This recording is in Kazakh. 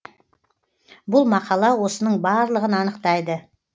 бұл мақала осының барлығын анықтайды